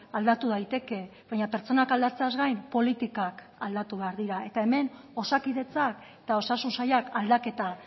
aldatu daiteke baina pertsonak aldatzeaz gain politikak aldatu behar dira eta hemen osakidetzak eta osasun sailak aldaketa